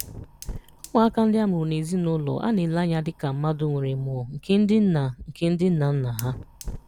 Ụmụaka ndị a mụrụ na ezinụlọ a na-ele anya dị ka mmadụ nwere mmụọ nke ndị nna nke ndị nna nna ha.